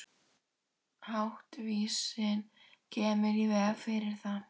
Háttvísin kemur í veg fyrir það.